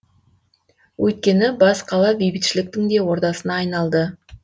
өйткені бас қала бейбітшіліктің де ордасына айналды